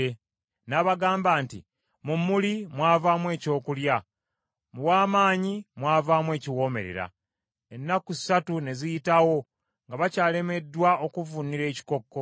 N’abagamba nti, “Mu muli mwavaamu ekyokulya Mu w’amaanyi mwavaamu ekiwoomerera.” Ennaku ssatu ne ziyitawo nga bakyalemeddwa okuvvuunula ekikokko.